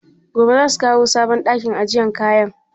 Gobe za su kawo sabon ɗakin ajiye kayan?